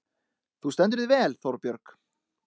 Þú stendur þig vel, Þórbjörg!